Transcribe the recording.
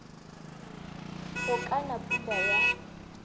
go ka na pula ya